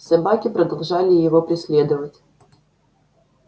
собаки продолжали его преследовать